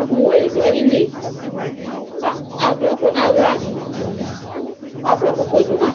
ɛkʋwɛ dʋ ayili adʋ ɛkʋ nʋ aɣla akɔ ɛkʋfue dʋma